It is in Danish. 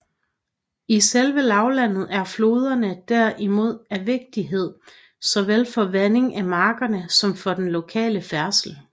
I selve lavlandet er floderne der imod af vigtighed såvel for vandingen af markerne som for den lokale færdsel